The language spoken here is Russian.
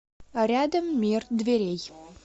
рядом мир дверей